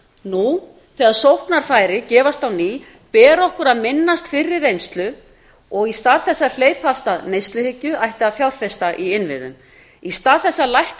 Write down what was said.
nú þegar sóknarfæri gefast á ný ber okkur að minnast fyrri reynslu og í stað þess að hleypa af stað neyslubylgju ætti að fjárfesta í innviðum í stað þess að lækka